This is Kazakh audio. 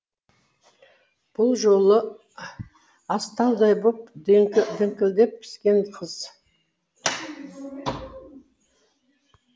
бұл жолы астаудай боп діңкілдеп піскен қыз